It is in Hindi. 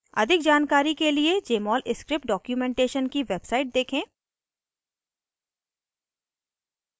अधिक जानकारी के लिए jmol स्क्रिप्ट डॉक्युमेंटेशन की वेबसाइट देखें